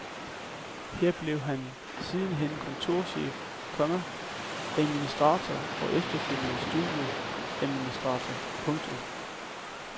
Her blev han sidenhen kontorchef, komma administrator og efterfølgende studieadministrator. punktum